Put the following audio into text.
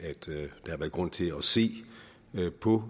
at grund til at se på